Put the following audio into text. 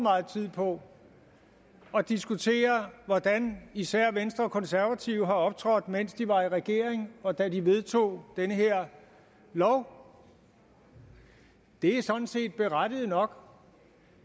meget tid på at diskutere hvordan især venstre og konservative har optrådt mens de var i regering og da de vedtog den her lov det er sådan set berettiget nok